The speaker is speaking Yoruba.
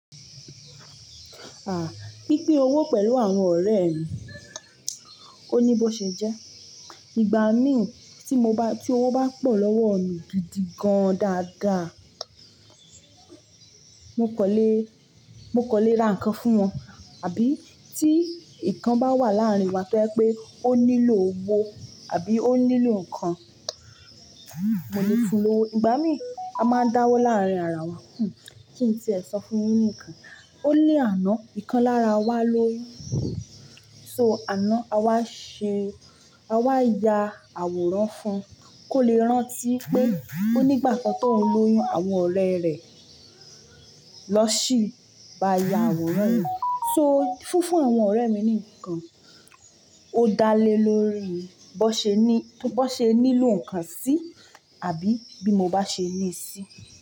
Ah, pínpín owó pẹ̀lú àwọn ọ̀rẹ́ mi, o ni bó ṣe jẹ́. Ìgbà mí tí mo bá, tí owó bá pọ̀ lọ́wọ́ mi gidi gan dáadáa, mo kan lé, mo kan lé ra ǹkan fún wọn. Àbí tí ǹkan bá wà láàrin wa pé ó nílò owó àbí ó nílò ǹkan, mo lè fún owó. Ìgbà mí a máa ń dáwọ́ láàrin ara wa kí n tí ẹ̀ sọ fún yín nìkan. Ó ní àná nǹkan lára wa lóyún. So àná a wá ṣe, a wá ya àwòrán fún un kó lè rántí pé ó nígbà kan tó ń lóyún àwọn ọ̀rẹ́ rẹ̀ náà sí ba ya àwòrán. So fúnfún àwọn ọ̀rẹ́ mi ni ǹkan ó dá lé lórí i bó ṣe ní, bó ṣe nílò ǹkan sí àbí bí mo bá ṣe ní sí.